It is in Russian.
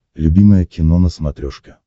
любимое кино на смотрешке